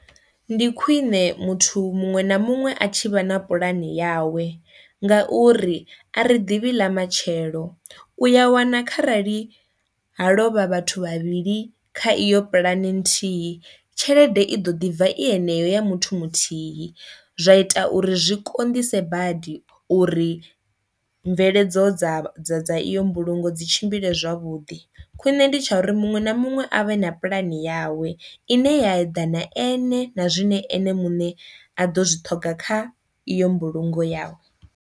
Ndi khwiṋe muthu muṅwe na muṅwe a tshi vha na pulani yawe ngauri a ri ḓivhi ḽa matshelo, u ya wana kharali ha lovha vhathu vhavhili kha iyo pulane nthihi tshelede i ḓo ḓi bva i heneyo ya muthu muthihi. Zwa ita uri zwi konḓise badi uri mveledzo dza dza dza iyo mbulungo dzi tshimbile zwavhuḓi, khwine ndi tsha uri muṅwe na muṅwe a vhe na pulani yawe ine ya eḓana ene na zwine ene muṋe a ḓo zwi ṱhoga kha iyo mbulungo ya.